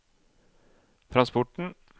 transporten